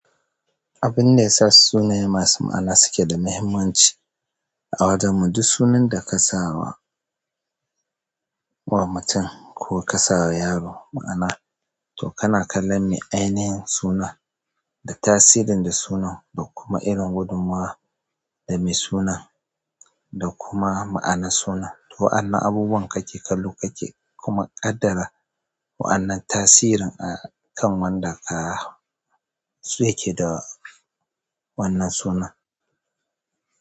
Abin da ya sa sunaye masu ma'ana suke da mahimmanci a wajen mu, duk sunan da ka sawa wa mutum ko ka sawa yaro ma'ana, to kana kallon me ainihin sunan da tasirin da sunan, da kuma irin gudunmawa da mai sunan da kuma ma'anar sunan. Wa'annan abubuwan ka ke kallo ka ke kuma ƙaddara wa'annan tasirin a kan wanda ah ya ke da wannan sunan.